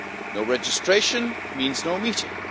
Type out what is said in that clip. No registration means no meeting.